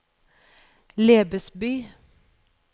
Lebesby